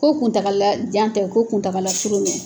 Ko kuntaala jan tɛ ko kuntaala surun don.